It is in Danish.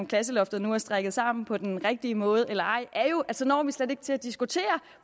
klasseloftet nu er strikket sammen på den rigtige måde eller ej er jo at så når vi slet ikke til at diskutere